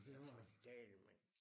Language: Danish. Ja for dælen mand